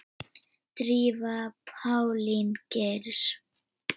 Drífa Pálín Geirs.